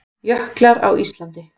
Jöklar á Íslandi.